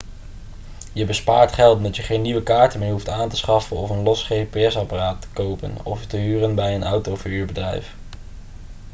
je bespaart geld omdat je geen nieuwe kaarten meer hoeft aan te schaffen of een los gps-apparaat te kopen of te huren bij een autoverhuurbedrijf